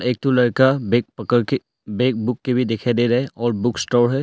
एक ठो लड़का बैग पकड़ के बैग बुक के भी दिखाई दे रहा है और बुक स्टोर है।